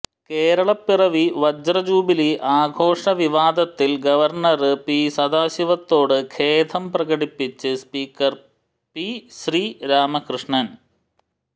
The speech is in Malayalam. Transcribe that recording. കേരളപ്പിറവി വജ്ര ജൂബിലി ആഘോഷ വിവാദത്തിൽ ഗവർണ്ണര് പി സദാശിവത്തോട് ഖേദം പ്രകടിപ്പിച്ച് സ്പീക്കർ പി ശ്രീരാമകൃഷ്ണന്